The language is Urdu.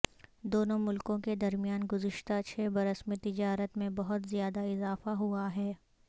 دونوں ملکوں کے درمیان گزشتہ چھ برس میں تجارت میں بہت زیادہ اضافہ ہوا ہے